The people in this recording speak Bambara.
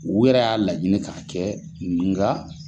O yɛrɛ y'a laɲini ka kɛ nga